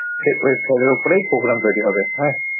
সেই website এর ওপরেই program তৈরী হবে। হ্যাঁ।